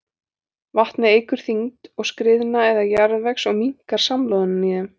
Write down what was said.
Vatnið eykur þyngd skriðna eða jarðvegs og minnkar samloðunina í þeim.